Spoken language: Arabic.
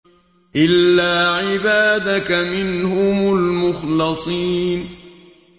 إِلَّا عِبَادَكَ مِنْهُمُ الْمُخْلَصِينَ